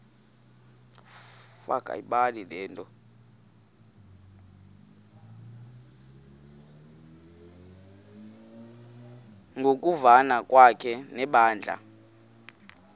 ngokuvana kwakhe nebandla